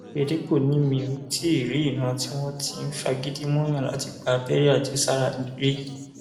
òyedèpọ ni mi ò tí ì rí ìran tí wọn ti ń fagídí múùyàn láti gba abẹrẹ àjẹsára rí